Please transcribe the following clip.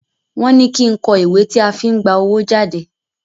Wọ́n ní kí n kọ ìwé tí a fi n gba owó jade.